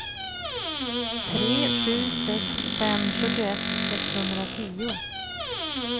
tre sju sex fem sjuttioett sexhundratio